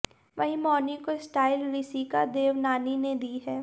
वहीं मौनी को स्टाइल रिसिका देवनानी ने दी है